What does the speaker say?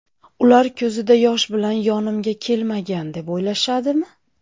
Ular ko‘zida yosh bilan yonimga kelmagan, deb o‘ylashadimi?